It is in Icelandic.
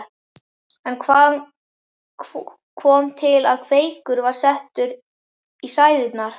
En hvað kom til að Kveikur var settur í sæðingar?